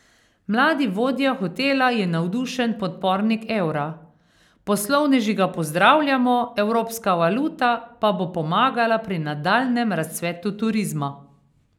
Mladi vodja hotela je navdušen podpornik evra: 'Poslovneži ga pozdravljamo, evropska valuta pa bo pomagala pri nadaljnjem razcvetu turizma.